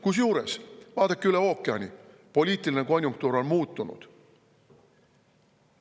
Kusjuures, vaadake üle ookeani: poliitiline konjunktuur on muutunud.